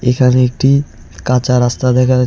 এখানে একটি কাঁচা রাস্তা দেখা--